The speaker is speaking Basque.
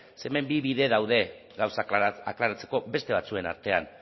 ze hemen bi bide daude gauzak aklaratzeko beste batzuen artean